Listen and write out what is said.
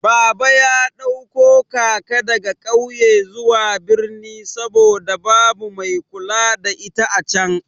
Baba ya ɗauko kaka daga ƙauye zuwa birni saboda babu mai kula da ita acan.